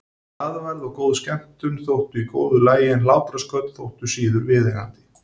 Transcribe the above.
Glaðværð og góð skemmtun þóttu í góðu lagi en hlátrasköll þóttu síður viðeigandi.